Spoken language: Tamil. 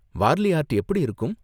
வார்லி ஆர்ட் எப்படி இருக்கும்?